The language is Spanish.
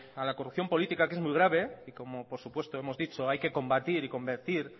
a la corrupción política que es muy grave y como por supuesto hemos dicho hay que combatir y convertir